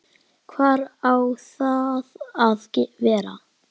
Hvar á það að vera?